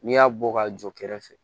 N'i y'a bɔ ka jɔ kɛrɛfɛ